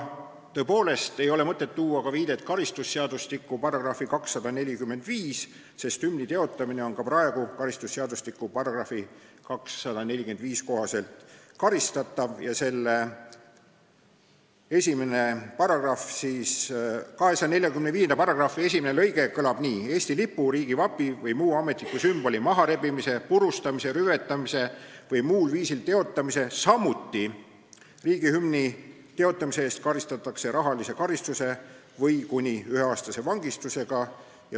Tõepoolest ei ole mõtet tuua viidet karistusseadustiku §-le 245, sest hümni teotamine on ka praegu karistatav karistusseadustiku § 245 kohaselt, mille esimene lõige kõlab nii: "Eesti lipu, riigivapi või muu ametliku sümboli maharebimise, purustamise, rüvetamise või muul viisil teotamise, samuti riigihümni teotamise eest – karistatakse rahalise karistuse või kuni üheaastase vangistusega.